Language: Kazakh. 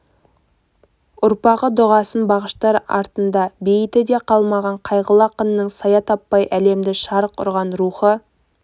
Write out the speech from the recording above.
ұрпағы дұғасын бағыштар артында бейіті де қалмаған қайғылы ақынның сая таппай әлемді шарқ ұрған рухы